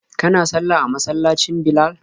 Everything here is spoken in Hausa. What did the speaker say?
Kana sallah a masallacin Bilal?